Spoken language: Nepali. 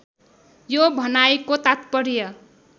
यो भनाइको तात्पर्य